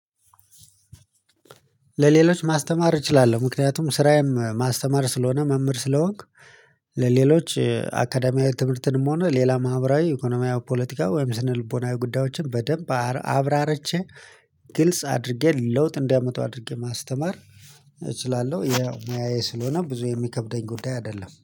ለሌሎች ማስተማር እችላለሁ ምክንያቱም ስራዬም ማስተማር ስለሆነ መምህር ስለሆንክ ለሌሎች አካዳሚያዊ ትምህርትንም ሆነ ሌላ ማህበራዊ ኢኮኖሚያዊ ፖለቲካ ወይም ስነልቦናዊ ጉዳዮችን በደንብ አብራርቸ ግልጽ አድርጌ ለውጥ እንዲያመጡ አድርጌ ማስተማር። እችላለሁ ሙያዬ ስለሆነ ብዙ የሚከብደኝ ጉዳይ አይደለም